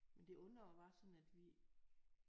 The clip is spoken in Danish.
Men det undrer mig bare sådan at vi